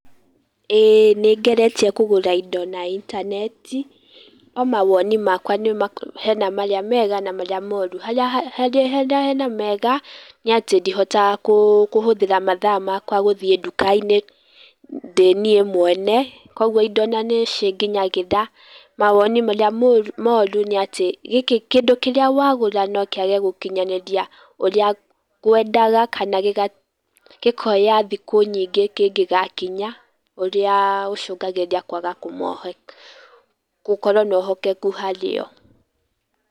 ĩĩ nĩngeretie kũgũra indo na intaneti, no mawoni makwa hena marĩa mega na marĩa moru. Harĩa hena mega nĩ atĩ ndihotaga kũhũthĩra mathaa makwa gũthiĩ ndũka-inĩ ndĩ niĩ mwene, koguo indo na nĩ cinginyagĩra. Mawoni marĩa moru nĩ atĩ kĩndũ kĩrĩa wagũra no kĩage gũkinyanĩria ũrĩa ngwendaga. kana gĩkoya thikũ nyingĩ kĩngĩgakinya ũrĩa ũcũngagĩrĩria kwaga gũkorwo na wĩhokeku harĩo..